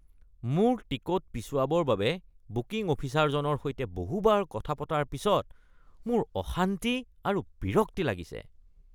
মোৰ টিকট পিছুৱাবৰ কাৰণে বুকিং অফিচাৰজনৰ সৈতে বহুতবাৰ কথা পতাৰ পিছত মোৰ অশান্তি আৰু বিৰক্তি লাগিছে।